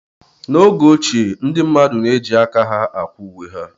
N'oge ochie, ndị mmadụ na-eji aka ha akwa uwe ha.